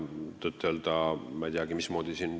Tõtt-öelda, ma ei tea.